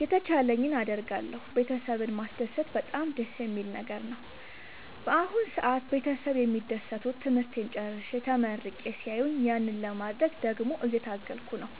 የተቻለኝን አደርጋለሁ ቤተሰብን ማስደሰት በጣም ደስ የሚል ነገር ነው። በአሁን ሰአት ቤተሰብ የሚደሰቱት ትምህርቴን ጨርሼ ተመርቄ ሲያዩኝ ያንን ለማድረግ ደግሞ እየታገልኩ ነው።